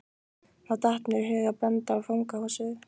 Þá datt mér í hug að benda á fangahúsið.